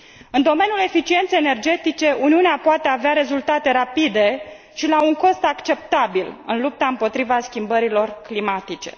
În domeniul eficienței energetice, Uniunea poate avea rezultate rapide și la un cost acceptabil în lupta împotriva schimbărilor climatice.